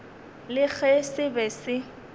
le ge se be se